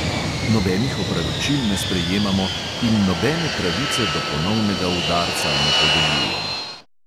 Nobenih opravičil ne sprejemamo in nobene pravice do ponovnega udarca ne podeljujemo.